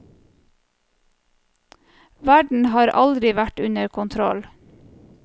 Verden har aldri vært under kontroll.